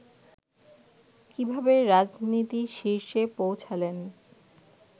কিভাবে রাজনীতির শীর্ষে পৌঁছালেন